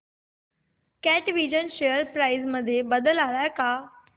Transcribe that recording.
कॅटविजन share price मध्ये बदल आलाय का